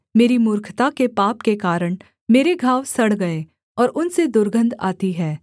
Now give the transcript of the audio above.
मेरी मूर्खता के पाप के कारण मेरे घाव सड़ गए और उनसे दुर्गन्ध आती हैं